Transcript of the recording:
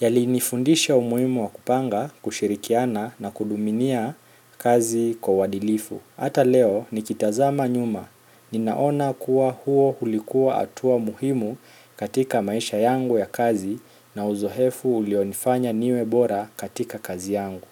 Yalinifundisha umuhimu wa kupanga, kushirikiana na kutumikia kazi kwa uadilifu. Hata leo nikitazama nyuma, ninaona kuwa huo ulikuwa hatua muhimu katika maisha yangu ya kazi na uzoefu ulionifanya niwe bora katika kazi yangu.